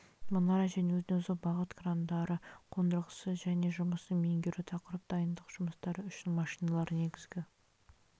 мұнара және өзін өзі бағыт крандары қондырғысы және жұмысын меңгеру тақырып дайындық жұмыстары үшін машиналар негізгі